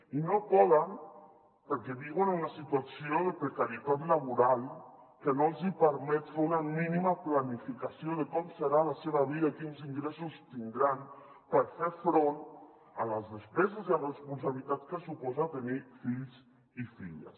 i no poden perquè viuen una situació de precarietat laboral que no els hi permet fer una mínima planificació de com serà la seva vida quins ingressos tindran per fer front a les despeses i la responsabilitat que suposa tenir fills i filles